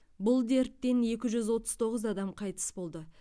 бұл дерттен екі жүз отыз тоғыз адам қайтыс болды